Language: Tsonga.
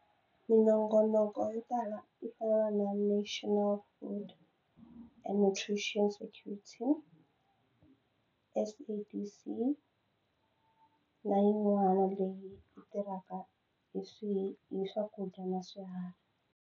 Minongonoko yo tala yo fana na national food and tuition security SABC na yin'wana leyi yi tirhaka hi swihi hi swakudya na swiharhi.